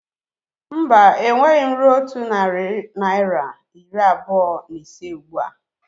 Mba, enweghị m rue otu narị naira iri abụọ na ise ụgbụa